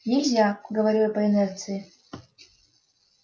нельзя говорю я по инерции